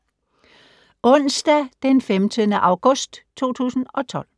Onsdag d. 15. august 2012